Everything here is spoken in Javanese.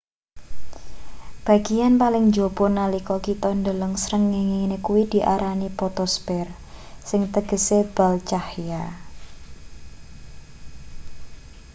bageyan paling njaba nalika kita ndeleng srengenge kuwi diarani potosper sing tegese bal cahya